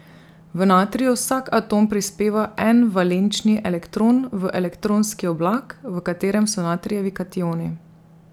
V natriju vsak atom prispeva en valenčni elektron v elektronski oblak, v katerem so natrijevi kationi.